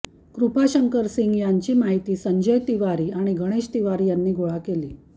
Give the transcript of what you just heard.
कृपाशंकर सिंग यांची माहिती संजय तिवारी आणि गणेश तिवारी यांनी गोळा केली